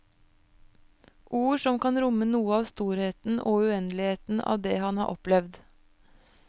Ord som kan romme noe av storheten og uendeligheten av det han har opplevd.